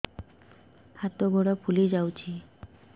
ହାତ ଗୋଡ଼ ଫୁଲି ଯାଉଛି